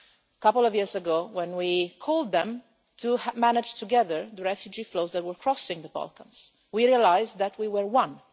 A couple of years ago, when we called on them to manage together the refugee flows that were crossing the Balkans, we realised that we were one.